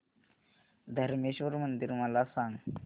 धरमेश्वर मंदिर मला सांग